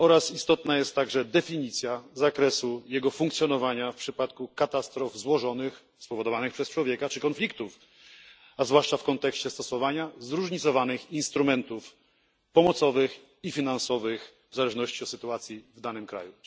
istotna jest także definicja zakresu jego funkcjonowania w przypadku katastrof złożonych, spowodowanych przez człowieka, czy konfliktów, a zwłaszcza w kontekście stosowania zróżnicowanych instrumentów pomocowych i finansowych w zależności od sytuacji w danym kraju.